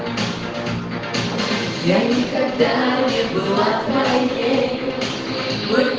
я никогда не была кнопки